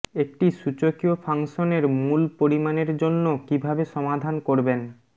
একটি সূচকীয় ফাংশনের মূল পরিমাণের জন্য কিভাবে সমাধান করবেন